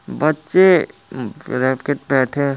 बच्चे बैठे है।